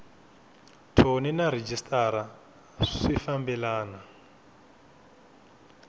thoni na rhejisitara swi fambelena